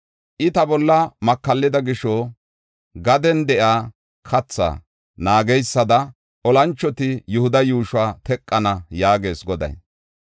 I ta bolla makallida gisho, gaden de7iya kathaa naageysada olanchoti Yihuda yuushuwa teqana” yaagees Goday.